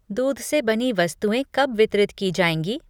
दूध से बनी वस्तुएँ कब वितरित की जाएंगी?